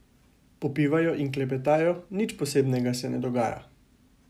Popivajo in klepetajo, nič posebnega se ne dogaja.